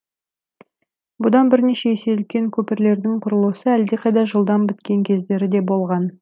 бұдан бірнеше есе үлкен көпірлердің құрылысы әлдеқайда жылдам біткен кездері де болған